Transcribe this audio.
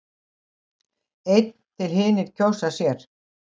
Einn til hinir kjósa sér.